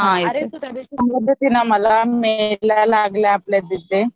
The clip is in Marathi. अरे तू त्या दिवशी सांगित होती ना मला मेला लागलाय आपल्या तिथे